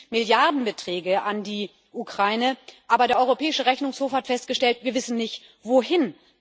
Es fließen Milliardenbeträge an die Ukraine, aber der Europäische Rechnungshof hat festgestellt Wir wissen nicht, wohin.